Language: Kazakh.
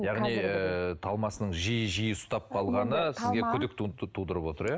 яғни ыыы талмасының жиі жиі ұстап қалғаны сізге күдік тудырып отыр иә